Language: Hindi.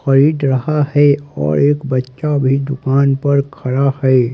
खरीद रहा है और एक बच्चा भी दुकान पर खड़ा है।